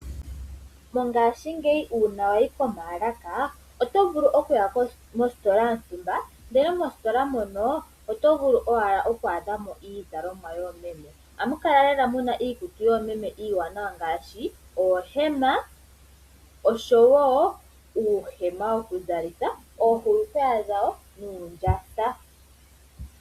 Mongashingeyi uuna wa yi komaalaka oto vulu okuya mositola yontumba, ndele mositola mono oto vulu owala oku adha mo iizalomwa yoomeme. Ohamu kala lela mu na iikutu yoomeme iiwanawa ngaashi oohema osho wo uuhema wokuzalitha oohulukweya dhawo nuundjatha.